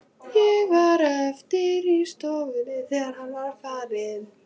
Ég varð eftir í stofunni, þegar hann var farinn.